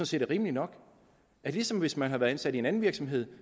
set er rimeligt nok ligesom hvis man havde været ansat i en anden virksomhed